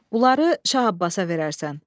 Bunları Şah Abbasa verərsən.